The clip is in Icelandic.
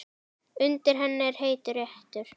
Undir henni er heitur reitur.